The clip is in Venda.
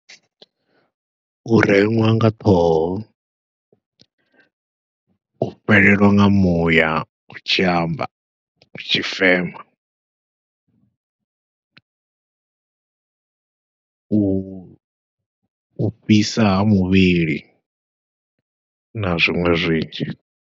U reṅwa nga ṱhoho, u fhelelwa nga muya u tshi amba u tshi fema, u fhisa ha muvhili na zwiṅwe zwinzhi.